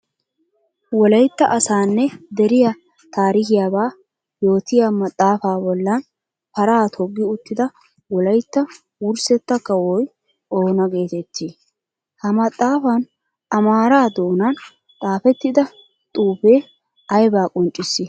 Wolaytta asaanne deriyaa taarikkiyabba yootiyaa maxafaa bollan paraa togi uttida wolaytta wurssetta kawoy oona geetettii? Ha maxafan amaara doonaan xaafetidda xuufe aybba qonccissii?